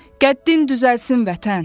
Qəddin düzəlsin Vətən.